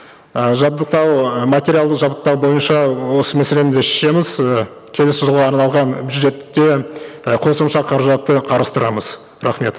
ы жабдықтау ы материалдық жабдықтау бойынша осы мәселені де шешеміз ы келесі жылға арналған бюджетте і қосымша қаражатты қарастырамыз рахмет